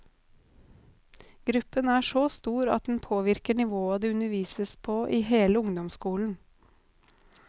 Gruppen er så stor at den påvirker nivået det undervises på i hele ungdomsskolen.